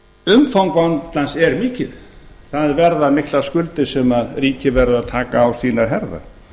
umfang vandans er mikið það verða miklar skuldir sem ríkið verður að taka á sínar herðar